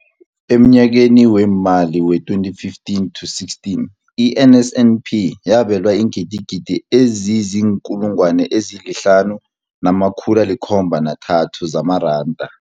Emnyakeni weemali we-2015 to16, i-NSNP yabelwa iingidigidi ezizi-5 703 zamaranda.